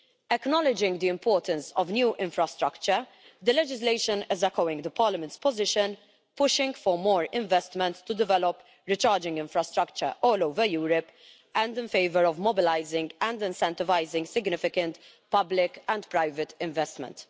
Acknowledging the importance of new infrastructure, the legislation is echoing Parliament's position, pushing for more investment to develop recharging infrastructure all over Europe and in favour of mobilising and incentivising significant public and private investment.